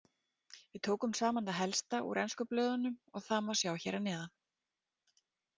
Við tókum saman það helsta úr ensku blöðunum og það má sjá hér að neðan.